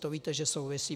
To víte, že souvisí.